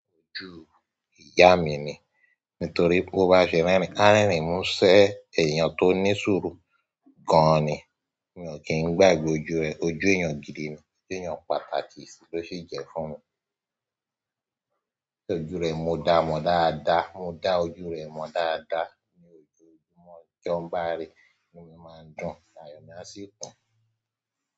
Ọju ìyá mi ni. Nítorí bó bá ṣe rẹ́rìn, a rẹ́rìn mú ṣe ẹ́eyàn tó ní sùru gan ni. Mi ò kí ń gbàgbé ojú rẹ. Ojú èèyàn gídì ni. Ojú èèyàn pàtàkì sì ló sì jẹ́ fún mi. Ṣé ojú rẹ mo dá ọ mọ dáadáa, mo dá ojú rẹ mọ dáadáa ní ojú ojúmọ́ jọ ń bá ri inú mí máa ń dún, àyọ̀ mi má sì kun.